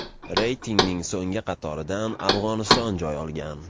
Reytingning so‘nggi qatoridan Afg‘oniston joy olgan.